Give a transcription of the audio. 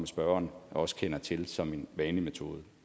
spørgeren også kender til som værende en vanlig metode